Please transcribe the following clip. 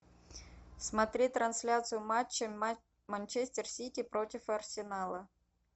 смотреть трансляцию матча манчестер сити против арсенала